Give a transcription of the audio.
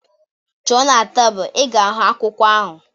Chọọ n'tebul, ị ga-ahụ akwụkwọ ahu